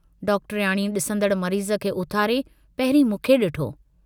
डॉक्टरयाणीअ डिसंदड़ मरीज़ खे उथारे, पहिरीं मूंखे डिठो।